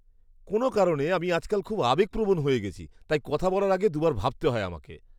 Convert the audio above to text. কোনো কারণে, আমি আজকাল খুব আবেগপ্রবণ হয়ে গেছি, তাই কথা বলার আগে দু'বার ভাবতে হয় আমাকে।